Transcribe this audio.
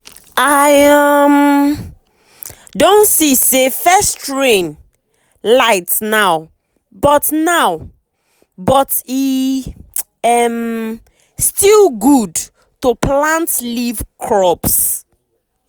i um don see say first rain light now but now but e um still good to plant leaf crops.